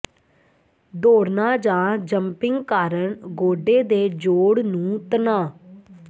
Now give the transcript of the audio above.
ਦੌੜਨਾ ਜਾਂ ਜੰਪਿੰਗ ਕਾਰਨ ਗੋਡੇ ਦੇ ਜੋੜ ਨੂੰ ਤਣਾਅ